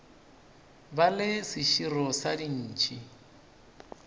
ba le seširo sa dintšhi